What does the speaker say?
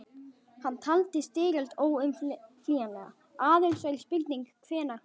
Hann taldi styrjöld óumflýjanlega, aðeins væri spurning hvenær hún hæfist.